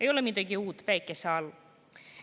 Ei ole midagi uut päikese all.